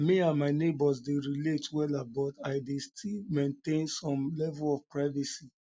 me and my neighbors dey relate wella but i dey still maintain some level of privacy